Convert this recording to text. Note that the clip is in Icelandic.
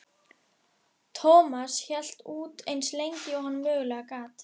Thomas hélt út eins lengi og hann mögulega gat.